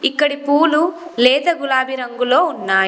ఇక్కడి పూలు లేత గులాబీ రంగులో ఉన్నాయి.